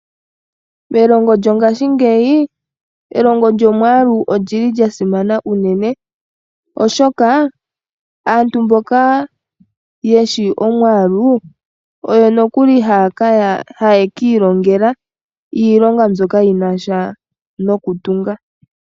Nelongo lyongashingeyi elongo lyomwaalu olyili lyasimana unene oshoka aantu mboka yeshi omwaalu oyo nokuli haye yiilongela iilonga mbyoka yinasha nokutunga.